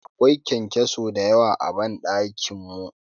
Akwai kyankyaso dayawa a ban dakin mu.